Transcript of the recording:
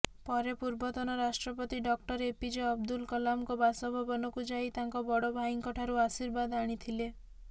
ପରେ ପୂର୍ବତନ ରାଷ୍ଟ୍ରପତି ଡକ୍ଟର ଏପିଜେ ଅବଦୁଲ କଲାମଙ୍କ ବାସଭବନକୁ ଯାଇ ତାଙ୍କ ବଡ଼ ଭାଇଙ୍କଠାରୁ ଆଶୀର୍ବାଦ ଆଣିଥିଲେ